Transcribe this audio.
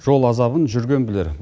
жол азабын жүрген білер